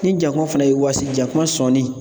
Ni jakuma fana ye wasi, jakuma sɔni